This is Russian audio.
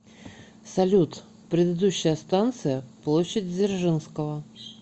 салют предыдущая станция площадь дзержинского